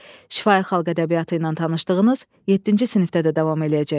Şifahi xalq ədəbiyyatı ilə tanışdığınız yeddinci sinifdə də davam eləyəcək.